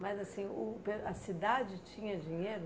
Mas assim, uh beh a cidade tinha dinheiro?